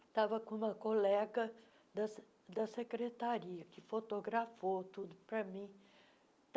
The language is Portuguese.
Estava com uma colega da se da secretaria, que fotografou tudo para mim.